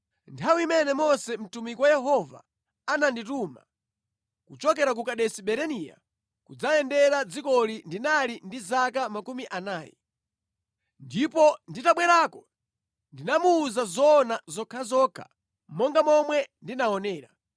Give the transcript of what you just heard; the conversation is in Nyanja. Nthawi imene Mose mtumiki wa Yehova anandituma kuchokera ku Kadesi Barinea kudzayendera dzikoli ndinali ndi zaka makumi anayi. Ndipo nditabwerako ndinamuwuza zoona zokhazokha monga momwe ndinaonera.